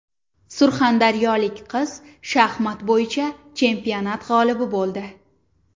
Surxondaryolik qiz shaxmat bo‘yicha chempionat g‘olibi bo‘ldi.